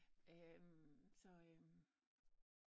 Så øm